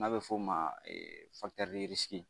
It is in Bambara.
N'a bɛ f'o ma